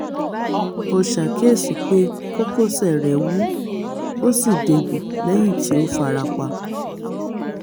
o ṣàkíyèsí pé kókósẹ̀ rẹ́ wú ó sì dégbò lẹ́yìn tí ó fara pa